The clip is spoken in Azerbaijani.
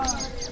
Samirə.